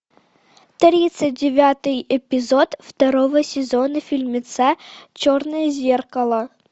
тридцать девятый эпизод второго сезона фильмеца черное зеркало